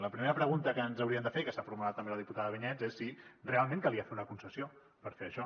la primera pregunta que ens hauríem de fer i que s’ha formulat també la diputada vinyets és si realment calia fer una concessió per fer això